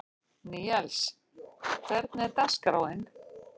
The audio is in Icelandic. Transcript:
Níels, hvernig er dagskráin?